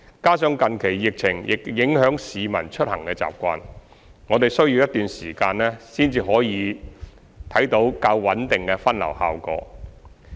加上近期疫情亦影響市民出行習慣，我們需要一段時間才可以看到較穩定的分流效果。